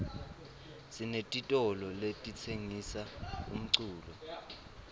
sinetitolo letitsengisa umculo